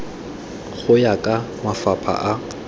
go ya ka mafapha a